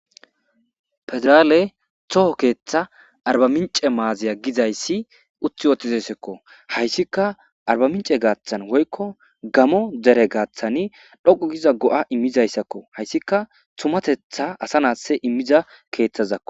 Pedraale toho keeththa arbamince maaziya gizayssi uti wootizesekko hayssika arbamince gaaththan woykko gamo dere gaaththani dhoqu giza go'a immizayssakko hayssika tumatetha asa naasse immiza keeththazakko.